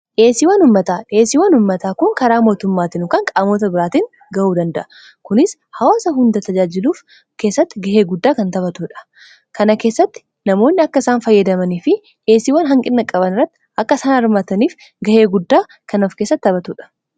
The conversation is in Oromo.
dhiyyesiiwwan ummataa dhiyyesiiwwan ummataa kun karaa mootummaatiin yookan qaamoota biraatiin ga'uu danda'a kunis hawaasa hunda tajaajiluuf keessatti gahee guddaa kan taphatuudha kana keessatti namoonni akka isaan fayyadamanii fi yeesiwwan hanqinna qaban irratti akka isana armaataniif gahee guddaa kan of keesatti taphatuudha